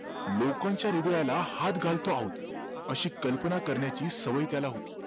लोकांच्या हृदयाला हात घालतो आहोत अशी कल्पना करण्याची सवय त्याला होती